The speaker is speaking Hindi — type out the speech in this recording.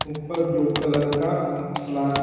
ब्लू कलर का ग्लास --